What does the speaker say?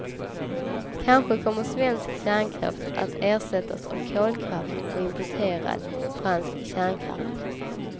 Kanske kommer svensk kärnkraft att ersättas av kolkraft och importerad fransk kärnkraft.